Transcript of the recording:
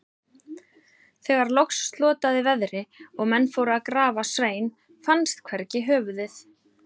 Þegar loks slotaði veðri og menn fóru til að grafa Svein, fannst hvergi höfuðið.